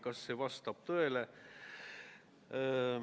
Kas see vastab tõele?